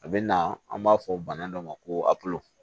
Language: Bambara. A bɛ na an b'a fɔ bana dɔ ma ko